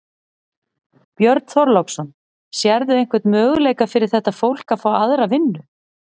Björn Þorláksson: Sérðu einhvern möguleika fyrir þetta fólk að fá aðra vinnu?